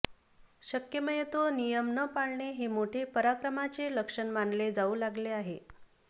शक्मयतो नियम न पाळणे हे मोठे पराक्रमाचे लक्षण मानले जाऊ लागले आहे